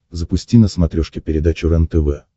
запусти на смотрешке передачу рентв